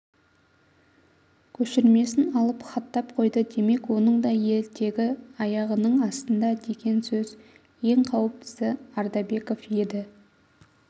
көшірмесін алып хаттап қойды демек оның да етегі аяғының астында деген сөз ең қауіптісі ардабеков еді